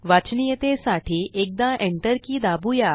वाचनीयतेसाठी एकदा enter key दाबूया